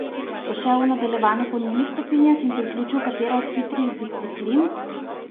Bo šel v nadaljevanju po njunih stopinjah in priključil katero od hitrih disciplin?